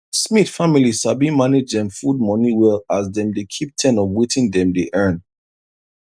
smith family sabi manage dem food money well as dem dey keep ten of wetin dem dey earn